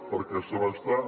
perquè se m’està